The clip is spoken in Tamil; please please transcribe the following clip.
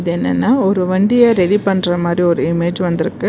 இப்ப என்னன்னா ஒரு வண்டிய ரெடி பண்ற மாரி ஒரு இமேஜ் வந்துருக்கு.